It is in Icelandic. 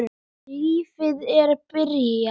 Lífið er byrjað.